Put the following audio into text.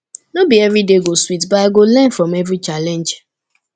no be every day go sweet but i go learn from every challenge